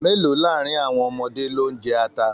Mélòó láàrin àwọn ọmọdé lo n jẹ ata?